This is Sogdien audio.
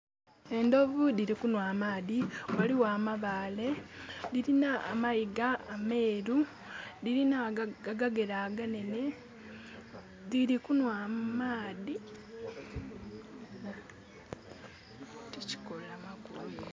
Endovu diri kunwa amaadhi. Waliwo amabaale. Dirina amayiga ameeru, dirina agagere aganene. Diri kunwa amaadhi.